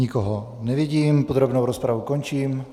Nikoho nevidím, podrobnou rozpravu končím.